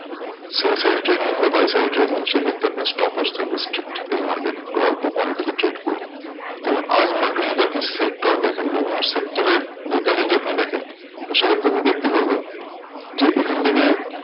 Sell side trading বা buy side trading সেই ক্ষেত্রে আপনি stop loss থাকবে strict এই market এ। আর অল্প quantity তে trade করুন। দেখুন আজ market এ যদি আপনি sector দেখেন বিভিন্ন sector এর data যদি আপনি দেখেন তো সেক্ষেত্রে আপনি দেখতে পারবেন যে এখান থেকে